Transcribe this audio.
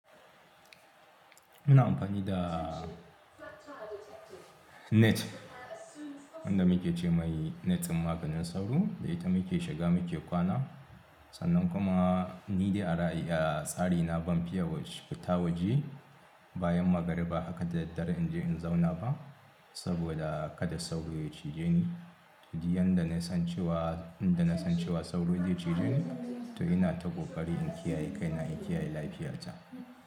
Muna amfani da net, wanda muke ce mai net ɗin maganin sauro. Da ita muke shiga muke kwana. Sannan kuma ni dai a ra'a, a tsari na ban fiya fita waje bayan magariba haka da daddare in je in zauna ba saboda kada sauro ya cije ni. Duk yanda nasan cewa, inda na san cewa sauro zai cije ni, to ina ta ƙoƙari in kiyaye kaina, in kiyaye lafiya ta.